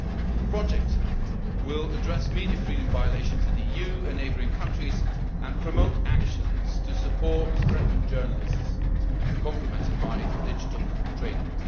The projects will address media freedom violations in the EU and neighbouring countries and promote action to support threatened journalists, complemented by digital training.